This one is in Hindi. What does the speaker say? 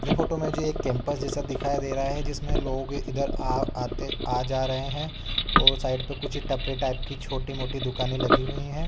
जे फोटो मे जे एक कॅम्पस जैसा दिखाई दे रहा है। जिसमे लोग इधर आ आते आ जा रहै है और साइड पे कुछ टपरे टाइप की छोटी मोटी दुकाने लगी हुई है।